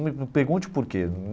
Não me pergunte o porquê hum.